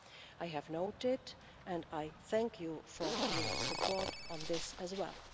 I have noted, and I thank you for, your support on this as well.